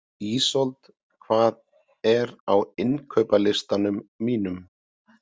Ísold, hvað er á innkaupalistanum mínum?